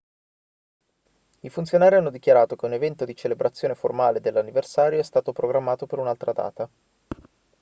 i funzionari hanno dichiarato che un evento di celebrazione formale dell'anniversario è stato programmato per un'altra data